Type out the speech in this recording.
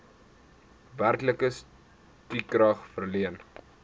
werklike stukrag verleen